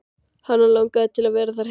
Hana langar til að vera þar heila eilífð.